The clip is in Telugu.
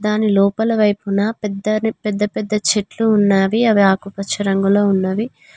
దాని లోపల వైపున పెద్దని పెద్ద పెద్ద చెట్లు ఉన్నావి అవి ఆకుపచ్చ రంగులో ఉన్నవి.